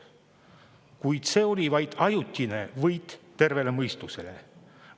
Kuid see oli vaid ajutine terve mõistuse võit.